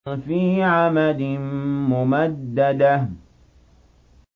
فِي عَمَدٍ مُّمَدَّدَةٍ